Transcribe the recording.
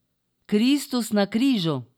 Kristus na križu.